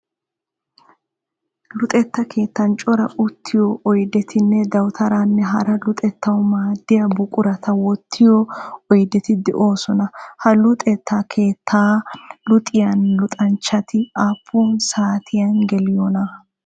Luxetta keettan cora uttiyoo oydetinne dawutaraanne hara luxettawu maaddiya buqurata wottiyoo oydeti de'oosona. Ha luxetta keettan luxiya luxanchati aappun saatiyan geliyoona?